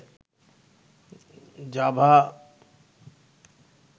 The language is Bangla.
জাভা